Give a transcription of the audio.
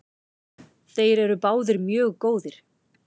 Þeir eru báðir mjög góðir.